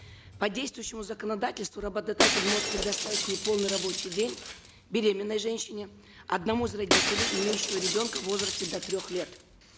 по действующему законодательству работодатель может предоставить неполный рабочий день беременной женщине одному из родителей имеющему ребенка в возрасте до трех лет